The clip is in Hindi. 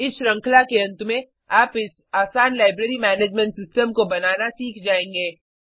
इस श्रृंखला के अंत में आप इस आसान लाइब्रेरी मैनेजमेंट सिस्टम को बनाना सीख जायेंगे